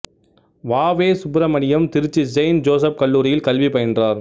வ வே Subramaniam Trichy saint Joseph கல்லூரியில் கல்வி பயின்றார்